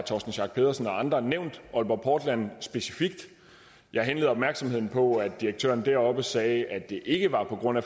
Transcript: torsten schack pedersen og andre nævnt aalborg portland specifikt jeg henleder opmærksomheden på at direktøren deroppe sagde at det ikke var på grund af